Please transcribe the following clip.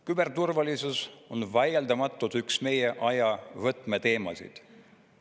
Küberturvalisus on vaieldamatult üks meie aja võtmeteemasid.